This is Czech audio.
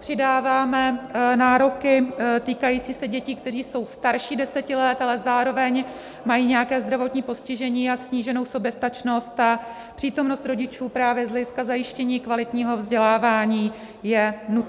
přidáváme nároky týkající se dětí, které jsou starší 10 let, ale zároveň mají nějaké zdravotní postižení a sníženou soběstačnost a přítomnost rodičů právě z hlediska zajištění kvalitního vzdělávání je nutná.